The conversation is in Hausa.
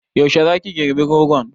Yaushe za ki girɓi rogon?